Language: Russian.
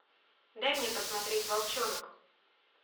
дай мне посмотреть волчонок